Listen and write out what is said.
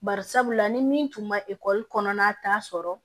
Bari sabula ni min tun ma ekɔli kɔnɔna taa sɔrɔ